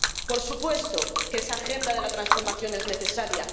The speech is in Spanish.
Por supuesto que esa agenda de la transformación es necesaria.